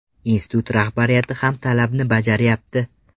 Institut rahbariyati ham talabni bajarayapti.